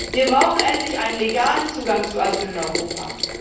Wir brauchen endlich einen legalen Zugang zu Asyl in Europa.